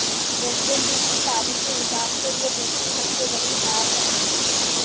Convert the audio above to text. West Indies की पारी के हिसाब से ये दूसरी सबसे बड़ी हार है